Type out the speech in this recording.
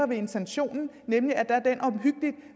ved intentionen nemlig